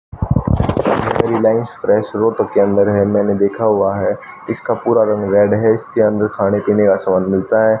तक के अंदर है मैने देखा हुआ है इसका पूरा रंग रेड है इसके अंदर खाने पीने का सामान मिलता हैं।